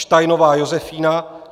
Steinová Josefína